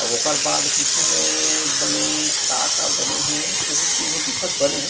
अउ ओकर बाद पीछू में बने का का बने हे उहू सीन ह दिखत बने--